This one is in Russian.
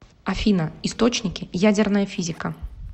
афина источники ядерная физика